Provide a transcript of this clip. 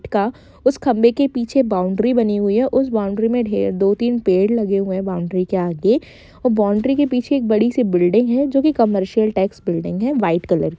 का उस खम्बें के पीछे बॉउंड्री बनी हुई है उस बॉउंड्री में ढेर दो -तीन पेड़ लगे हुए है बॉउंड्री के आगे और बॉउंड्री के पीछे एक बड़ी सी बिल्डिग है जो की कमर्सिअल टाइप्स बिल्डिंग है वाइट कलर की।